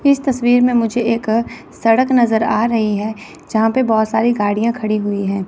इस तस्वीर में मुझे एक सड़क नजर आ रही है जहां पे बहोत सारी गाड़ियां खड़ी हुई हैं।